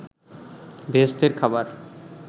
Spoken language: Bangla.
বেহেসতের খাবার